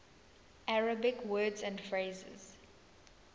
arabic words and phrases